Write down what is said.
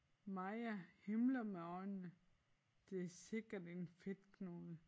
Maja himler med øjnene det sikkert en fedtknude